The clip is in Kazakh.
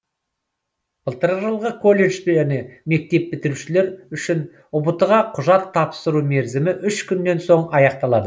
былтырғы жылғы колледж және мектеп бітірушілер үшін ұбт ға құжат тапсыру мерзімі үш күннен соң аяқталады